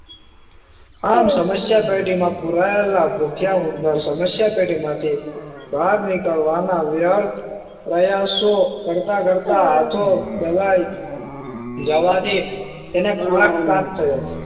આમ સમસ્યા પેટી માં પુરાયેલા ભૂખ્યા ઉંદર સમસ્યા પેટી માંથી બહાર નીકળવા ના વ્યર્થ પ્રયાસો કરતા કરતા હાથો દબાઈ જવા થી તેને ખોરાક પ્રાપ્ત થયો